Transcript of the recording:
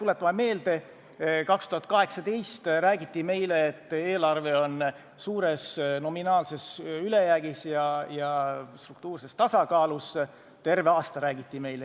Tuletame meelde, terve 2018. aasta räägiti meile, et eelarve on suures nominaalses ülejäägis ja struktuurses tasakaalus.